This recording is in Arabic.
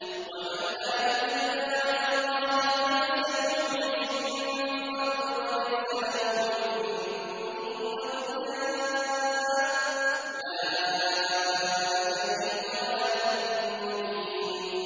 وَمَن لَّا يُجِبْ دَاعِيَ اللَّهِ فَلَيْسَ بِمُعْجِزٍ فِي الْأَرْضِ وَلَيْسَ لَهُ مِن دُونِهِ أَوْلِيَاءُ ۚ أُولَٰئِكَ فِي ضَلَالٍ مُّبِينٍ